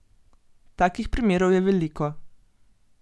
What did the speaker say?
Takih primerov je veliko.